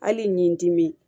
Hali ni n dimi